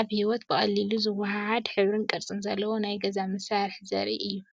ኣብ ህይወት ብቐሊሉ ዝወሃሃድ፡ ሕብርን ቅርጽን ዘለዎ ናይ ገዛ መሳርሒ ዘርኢ እዩ።